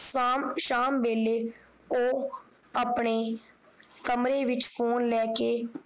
ਸ਼ਾਮ ਸ਼ਾਮ ਵੇਲੇ ਉਹ ਆਪਣੇ ਕਮਰੇ ਵਿਚ ਫੋਨ ਲੈ ਕੇ